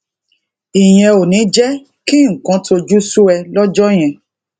ìyẹn ò ní jé kí nǹkan tojú sú ẹ lójó yẹn